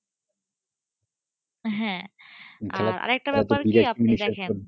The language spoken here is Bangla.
আর আরেকটা ব্যাপার কি আপনি দেখেন,